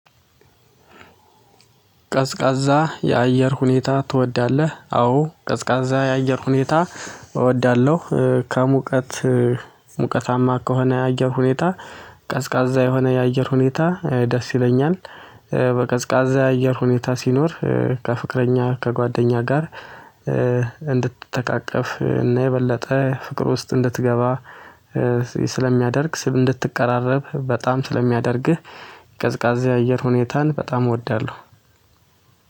ቀዝቃዛ የአየር ሁኔታ ትወዳለህ? አዎ ቀዝቃዛ የአየር ሁኔታ እወዳለው ከሙቀት ሙቀታማ ከሆነ የአየር ሁኔታ ቀዝቃዛ የሆነ የአየር ሁኔታ ደስ ይለኛል። በቀዝቃዛ የአየር ሁኔታ ሲኖር ከፍቅረኛ ከጓደኛ ጋር እንድትተቃቀፍ እና የበለጠ ፍቅር ውስጥ እንድትገባ ስለሚያደርግ እንድትቀራረብ በጣም ስለሚያደርግህ። ቀዝቃዛ የአየር ሁኔታን በጣም እወዳለው።